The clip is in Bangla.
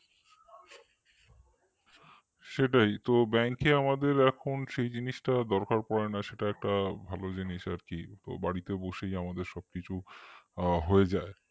সেটাই bank এ আমাদের এখন সেই জিনিসটা দরকার পড়ে না সেটা একটা ভালো জিনিস আর কি তো বাড়িতে বসেই আমাদের সবকিছু হয়ে যায়